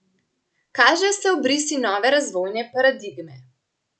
Kažejo se obrisi nove razvojne paradigme.